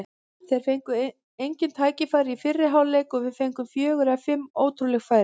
Þeir fengu engin tækifæri í fyrri hálfleik og við fengum fjögur eða fimm ótrúleg færi.